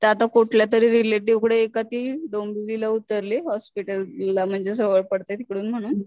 तर आता कुठल्यातरी रेलॅटिव्ह कडे एका ती डोंबिवलीला उतरलीये हॉस्पिटलला म्हणजे जवळ पडते तिकडून म्हणून.